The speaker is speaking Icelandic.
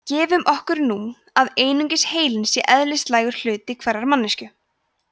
gefum okkur nú að einungis heilinn sé eðlislægur hluti hverrar manneskju